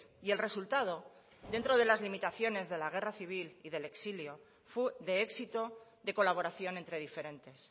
y el resultado dentro de las limitaciones de la guerra civil y del exilio fue de éxito de colaboración entre diferentes